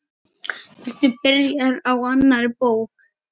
Ertu byrjaður á annarri bók?